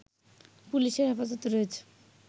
পুলিশের হেফাজতে রয়েছে